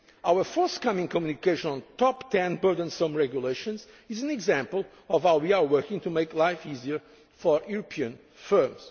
especially on SMEs. Our forthcoming Communication on the top ten burdensome regulations is an example of how we are working to make life easier